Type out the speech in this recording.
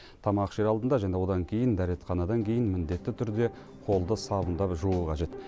тамақ ішер алдында және одан кейін дәретханадан кейін міндетті түрде қолды сабындап жуу қажет